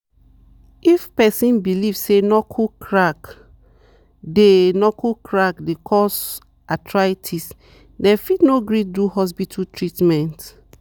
if person belief say knuckle crack dey knuckle crack dey cause arthritis dem fit no gree do hospital treatment.